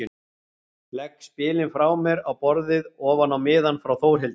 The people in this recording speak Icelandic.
Legg spegilinn frá mér á borðið ofan á miðann frá Þórhildi.